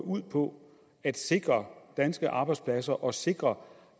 ud på at sikre danske arbejdspladser og sikre